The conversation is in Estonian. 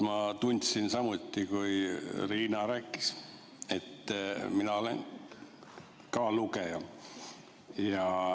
Ma tundsin samuti, kui Riina rääkis, et mina olen ka lugeja.